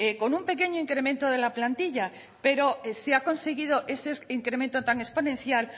con un pequeño incremento de la plantilla pero se ha conseguido ese incremento tan exponencial